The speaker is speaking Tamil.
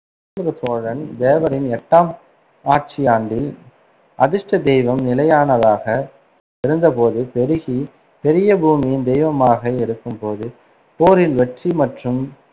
ஜேந்திர சோழன் தேவரின் எட்டாம் ஆட்சியாண்டில், அதிர்ஷ்ட தெய்வம் நிலையானதாக இருந்தபோது பெருகி பெரிய பூமியின் தெய்வமாக இருக்கும் போது போரில் வெற்றி மற்றும்